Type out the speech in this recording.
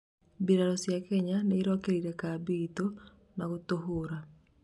mbirarũ cia Kenya nĩirokĩrĩire kambĩ ĩtu na gũtuhũra .